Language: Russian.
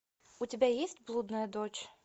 у тебя есть блудная дочь